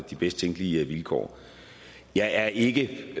de bedst tænkelige vilkår jeg er ikke